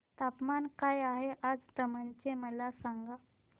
तापमान काय आहे आज दमण चे मला सांगा